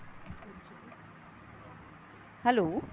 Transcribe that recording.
hello